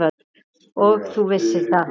Og þú vissir það.